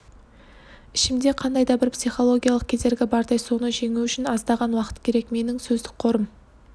ішімде қандай да бір психологиялық кедергі бардай соны жеңу үшін аздаған уақыт керек менің сөздік қорым